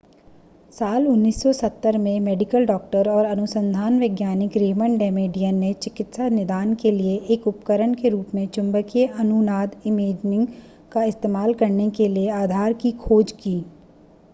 साल 1970 में medical doctor और अनुसंधान वैज्ञानिक रेमंड डेमेडियन ने चिकित्सा निदान के लिए एक उपकरण के रूप में चुंबकीय अनुनाद इमेजिंग का इस्तेमाल करने के लिए आधार की खोज की